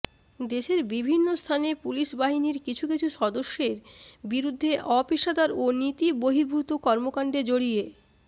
দেশের বিভিন্ন স্থানে পুলিশ বাহিনীর কিছু কিছু সদস্যের বিরুদ্ধে অপেশাদার ও নীতি বহির্ভূত কর্মকাণ্ডে জড়িয়ে